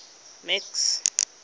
max